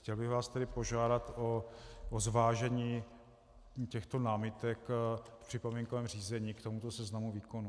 Chtěl bych vás tedy požádat o zvážení těchto námitek v připomínkovém řízení k tomuto seznamu výkonů.